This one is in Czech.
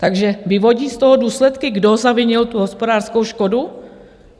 Takže vyvodí z toho důsledky, kdo zavinil tu hospodářskou škodu?